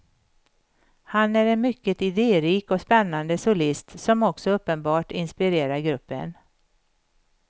Han är en mycket idérik och spännande solist, som också uppenbart inspirerar gruppen.